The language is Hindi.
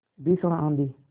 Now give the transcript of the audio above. भीषण आँधी